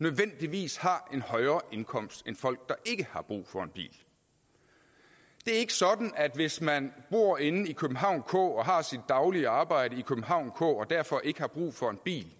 nødvendigvis har en højere indkomst end folk ikke har brug for en bil det er ikke sådan at hvis man bor inde i københavn k og har sit daglige arbejde i københavn k og derfor ikke har brug for en bil